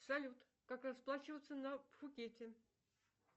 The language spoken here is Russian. салют как расплачиваться на пхукете